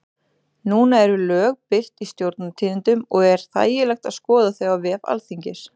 Núna eru lög birt í Stjórnartíðindum og er þægilegt að skoða þau á vef Alþingis.